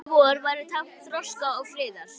Háskóli vor væri tákn þroska og friðar.